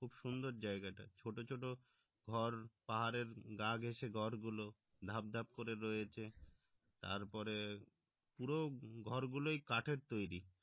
খুব সুন্দর জায়গাটা ছোট ছোট ঘর পাহাড়ের গা গেসে ঘর গুলো ধাপ ধাপ করে রয়েছে তারপরে পুরো ঘর গুলোই কাঠের তৈরী